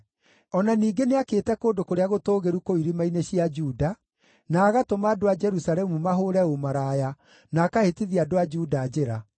O na ningĩ nĩakĩte kũndũ kũrĩa gũtũũgĩru kũu irĩma-inĩ cia Juda, na agatũma andũ a Jerusalemu mahũũre ũmaraya, na akahĩtithia andũ a Juda njĩra.